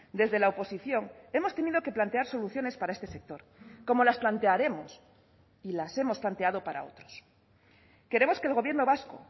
desde la oposición hemos tenido que plantear soluciones para este sector como las plantearemos y las hemos planteado para otros queremos que el gobierno vasco